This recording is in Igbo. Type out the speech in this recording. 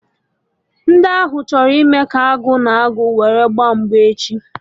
Ndi ahụ chọrọ ịme ka Agụ na agụ owuru gba mgba echi